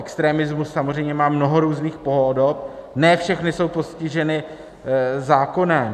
Extremismus samozřejmě má mnoho různých podob, ne všechny jsou postiženy zákonem.